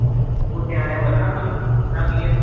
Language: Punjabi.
ਤੂੰ ਨਿਆਣਿਆ ਵੱਧਣਾ ਫੁੱਲਣਾ ਕਿ ਆ